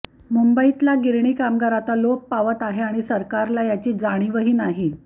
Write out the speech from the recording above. मुंबईतला गिरणी कामगार आता लोप पावत आहे आणि सरकारला याची जाणीवही नाही